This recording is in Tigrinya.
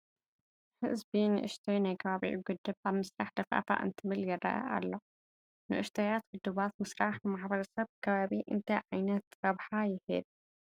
ህዝቢ ንኡሽተይ ናይ ከባቢኡ ግድብ ኣብ ምስራሕ ደፋእፋእ እንትብል ይርአ ኣሎ፡፡ ንኡሽተያት ግድባት ምስራሕ ንማሕበረሰብ ከባቢ እንታይ ዓይነት ረብሓ ይህብ?